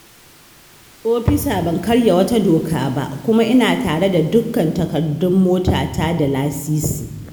Ofisa ban karya wata doka ba, kuma ina tare da dukkan takardun motata da lasisi